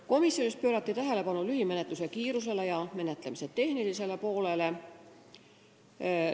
Komisjonis pöörati tähelepanu lühimenetluse kiirusele ja menetlemise tehnilisele poolele.